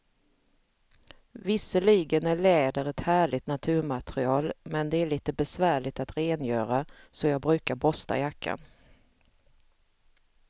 Visserligen är läder ett härligt naturmaterial, men det är lite besvärligt att rengöra, så jag brukar borsta jackan.